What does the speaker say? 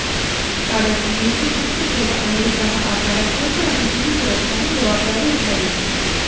કારણ અમેરિકી ગુપ્ત સેવા અમેરિકામા આવનારા કોઈ અતિથિની સુરક્ષાની જવાબદારી ઉઠાવે છે